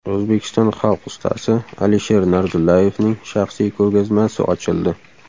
O‘zbekiston xalq ustasi Alisher Narzullayevning shaxsiy ko‘rgazmasi ochildi.